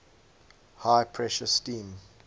high pressure steam